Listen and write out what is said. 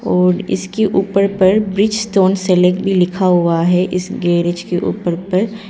और इसके ऊपर पर ब्रिजस्टोन सलेक्ट भी लिखा हुआ है इस गैरेज के ऊपर पर--